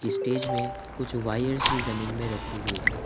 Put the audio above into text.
Stage मे कुछ wires भी जमीन मे रखी हुए है।